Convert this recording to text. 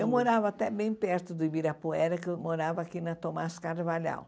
Eu morava até bem perto do Ibirapuera, que eu morava aqui na Tomás Carvalhal.